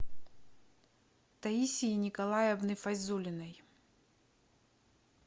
таисии николаевны файзулиной